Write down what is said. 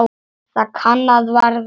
Það kann að vera